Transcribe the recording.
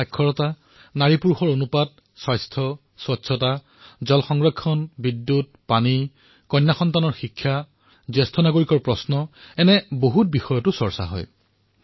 সাক্ষৰতা লিংগ অনুপাত স্বাস্থ্য স্বচ্ছতা জল সংৰক্ষণ বিদ্যুৎ পানী কন্যাসকলৰ শিক্ষা জ্যেষ্ঠ নাগৰিকৰ প্ৰশ্ন আদি বিভিন্ন বিষয়ত আলোচনা কৰা হয়